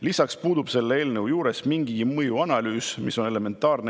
Lisaks puudub selle eelnõu puhul mingigi mõjuanalüüs.